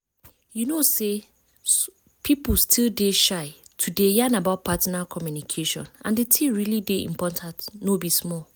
you know say people still dey shy to dey yan about partner communication and the thing really dey important no be small